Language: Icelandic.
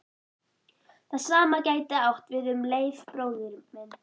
Það sama gæti átt við um Leif bróður minn.